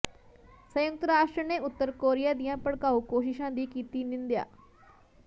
ਸੰਯੁਕਤ ਰਾਸ਼ਟਰ ਨੇ ਉੱਤਰ ਕੋਰੀਆ ਦੀਆਂ ਭੜਕਾਊ ਕੋਸ਼ਿਸ਼ਾਂ ਦੀ ਕੀਤੀ ਨਿੰਦਿਆ